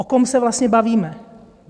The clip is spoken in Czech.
O kom se vlastně bavíme?